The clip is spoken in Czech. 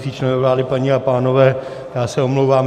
Členové vlády, paní a pánové, já se omlouvám.